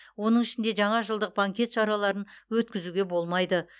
оның ішінде жаңажылдық банкет шараларын өткізуге болмайды